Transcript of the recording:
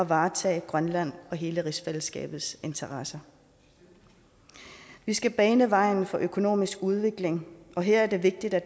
varetage grønland og hele rigsfællesskabets interesser vi skal bane vejen for økonomisk udvikling og her er det vigtigt at